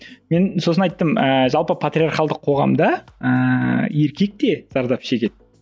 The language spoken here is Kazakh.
мен сосын айттым ыыы жалпы патриархалдық қоғамда ыыы еркек те зардап шегеді